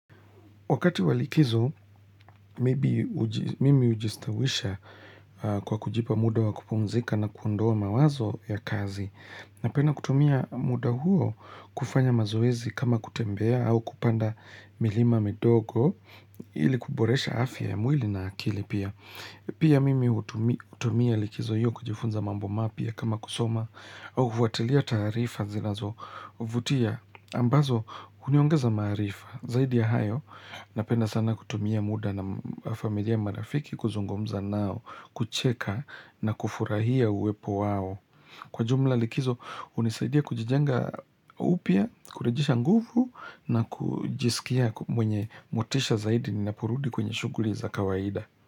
Wakati wa likizo, mimi ujistawisha kwa kujipa muda wa kupumzika na kuondoa mawazo ya kazi. Napenda kutumia muda huo kufanya mazoezi kama kutembea au kupanda milima midogo ili kuboresha afya ya mwili na akili pia. Pia mimi hutumia likizo hiyo kujifunza mambo mapya kama kusoma au kufuatilia taarifa zinazo vutia ambazo uniongeza maarifa. Zaidi ya hayo, napenda sana kutumia muda na familia marafiki kuzungumza nao, kucheka na kufurahia uwepo wao. Kwa jumla likizo, unisaidia kujijenga upya, kurejesha nguvu na kujisikia mwenye motisha zaidi ni naporudi kwenye shuguli za kawaida.